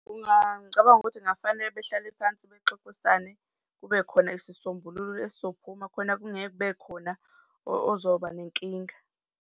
Ngicabanga ukuthi kungafanele behlale phansi bexoxisane, kube khona isisombululo esizophuma khona kungeke kube khona ozoba nenkinga.